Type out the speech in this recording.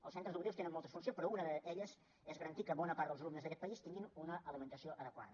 els centres educatius tenen moltes funcions però una d’elles és garantir que bona part dels alumnes d’aquest país tinguin una alimentació adequada